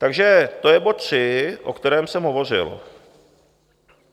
Takže to je bod tři, o kterém jsem hovořil.